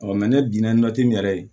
ne dun nati nin yɛrɛ ye